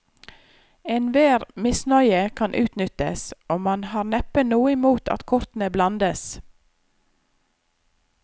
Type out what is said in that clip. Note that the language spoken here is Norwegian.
Enhver misnøye kan utnyttes, og man har neppe noe imot at kortene blandes.